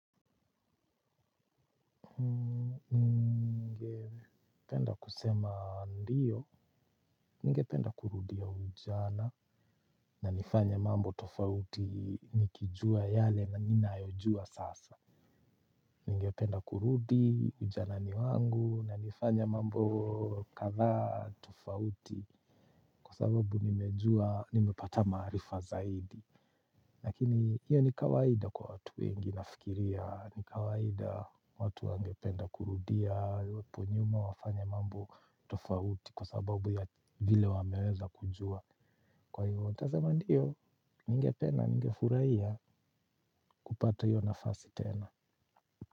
Nigependa kurudia ujana na nifanye mambo tofauti nikijua yale na ninayojua sasa. Nigependa kurudi ujana ni wangu na nifanye mambo kadhaa tofauti. Kwa sababu nimejua, nimepata maarifa zaidi. Lakini hiyo ni kawaida kwa watu wengi nafikiria, ni kawaida watu wangependa kurudia, hapo nyuma wafanye mambo tofauti kwa sababu ya vile wameweza kujua. Kwa hiyo, nitasema ndiyo, ningependa, ningefurahia kupata hiyo nafasi tena.